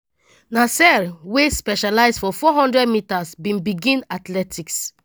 nasear wey specialise for 400 metres bin begin athletics